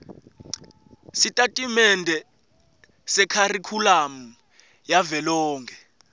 sitatimende sekharikhulamu yavelonkhe